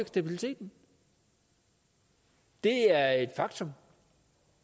stabiliteten det er et faktum